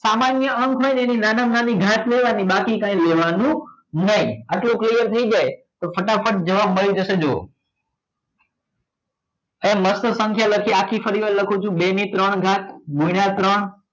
સામાન્ય અંક હોય તેની નાનામાં નાની ઘાત લેવાની બાકી કંઈ લેવાનું નહીં આટલું clear થઈ જાય તો ફટાફટ જવાબ મળી જશે જોવો. હવે મસ્ત સંખ્યા લખી આખી ફરીવાર લખું છું બે ને ત્રણ ઘાત ગુણ્યા ત્રણ